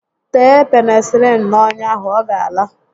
Tee Penịsịlịịnu n'ọnya ahụ, ọ gá ala